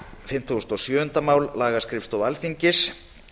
fimmtugasta og sjöunda mál um lagaskrifstofu alþingis